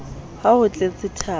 ha ho tletsethabo e sa